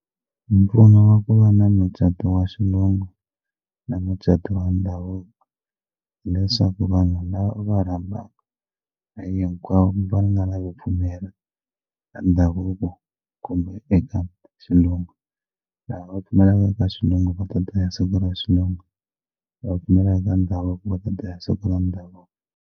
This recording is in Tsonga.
Mpfuno wa ku va na mucato wa xilungu na mucato wa ndhavuko hileswaku vanhu lava u va rhambaka hinkwavo va nga lavi pfumela ka ndhavuko kumbe eka xilungu lava va pfumelaka eka swa xilungu va ta dya hi siku ra xilungu lava pfumelaka ka ndhavuko va ta dya hi siku ra ndhavuko.